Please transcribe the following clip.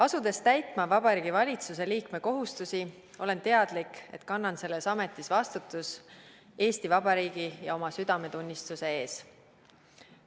Asudes täitma Vabariigi Valitsuse liikme kohustusi, olen teadlik, et kannan selles ametis vastutust Eesti Vabariigi ja oma südametunnistuse ees.